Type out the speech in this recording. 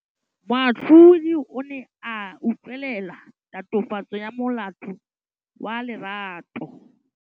Moatlhodi o ne a utlwelela tatofatsô ya molato wa Lerato.